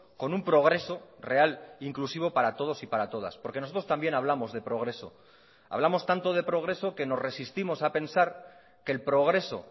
con un progreso real inclusivo para todos y para todas porque nosotros también hablamos de progreso hablamos tanto de progreso que nos resistimos a pensar que el progreso